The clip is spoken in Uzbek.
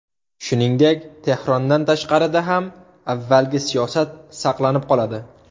Shuningdek, Tehrondan tashqarida ham avvalgi siyosat saqlanib qoladi.